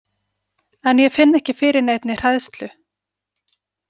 En ég finn ekki fyrir neinni hræðslu.